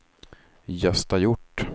Gösta Hjort